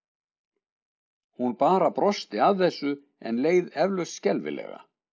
Hún bara brosti að þessu en leið eflaust skelfilega.